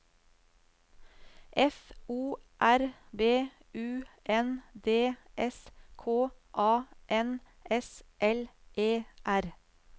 F O R B U N D S K A N S L E R